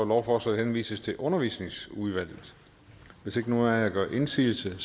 lovforslaget henvises til undervisningsudvalget hvis ikke nogen af jer gør indsigelse